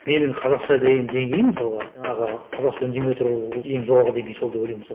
менің қазақша деңгейім мысалға жаңағы қазақша үндемей отыру ол ең жоғарғы деңгей сол деп ойлаймын мысалы